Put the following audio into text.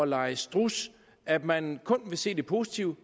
lege struds at man kun vil se det positive